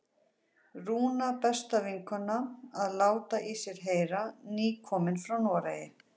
Rúna, besta vinkonan, að láta í sér heyra, nýkomin frá Noregi!